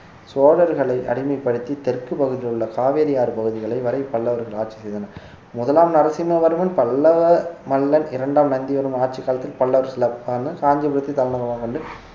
சோழர்களை அடிமைப்படுத்தி தெற்கு பகுதியில் உள்ள காவேரி ஆறு பகுதிகளை வரை பல்லவர்கள் ஆட்சி செய்தனர் முதலாம் நரசிம்மவர்மன் பல்லவ மல்லன் இரண்டாம் நந்தி வர்மன் ஆட்சி காலத்தில் பல்லவர் காஞ்சிபுரத்தை தலைநகரமாக கொண்டு